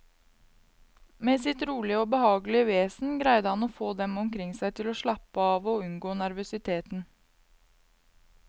Med sitt rolige og behagelige vesen greide han å få dem omkring seg til å slappe av og unngå nervøsiteten.